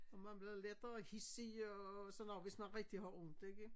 Og man bliver lettere hidsig og sådan noget hvis man rigtig har ondt ikke